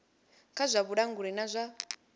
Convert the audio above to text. kha zwa vhulanguli na zwa